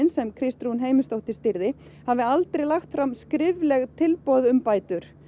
sem Kristrún Heimisdóttir stýrði hafi aldrei lagt fram skrifleg tilboð um bætur